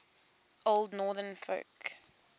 old northern folk